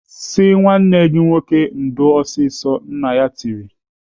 "Sị nwanne gị nwoke ndo ọsịsọ!" Nna ya tiri.